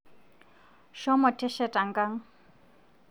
Shomo tesheta nkang